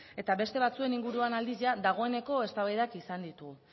eta beste batzuen inguruan aldiz dagoeneko eztabaidak izan ditugu